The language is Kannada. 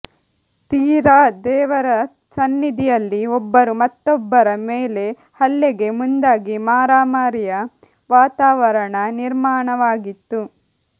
ತೀರಾ ದೇವರ ಸನ್ನಿಧಿಯಲ್ಲಿ ಒಬ್ಬರು ಮತ್ತೊಬ್ಬರ ಮೇಲೆಹಲ್ಲೆಗೆ ಮುಂದಾಗಿ ಮಾರಾಮಾರಿಯ ವಾತಾವರಣ ನಿರ್ಮಾಣವಾಗಿತ್ತು